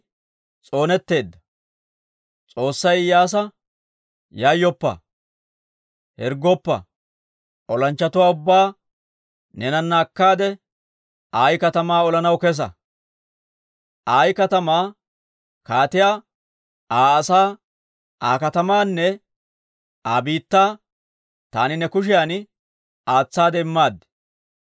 S'oossay Iyyaasa, «Yayyoppa; hirggoppa! Olanchchatuwaa ubbaa neenana akkaade, Ayi katamaa olanaw kesa. Ayi katamaa kaatiyaa, Aa asaa, Aa katamaanne Aa biittaa taani ne kushiyan aatsaade immaad.